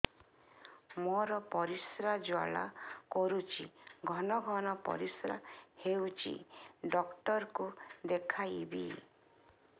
ମୋର ପରିଶ୍ରା ଜ୍ୱାଳା କରୁଛି ଘନ ଘନ ପରିଶ୍ରା ହେଉଛି ଡକ୍ଟର କୁ ଦେଖାଇବି